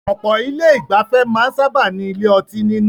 Ọ̀pọ̀ ilé ìgbafẹ́ máa ń sábáà ní ilé ọtí nínú.